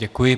Děkuji.